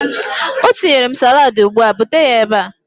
Ọ tinyere m salaadi ugbu a. Bute ya ebe a!